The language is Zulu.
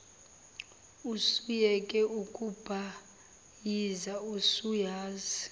usuyeke ukubhayiza usuyazi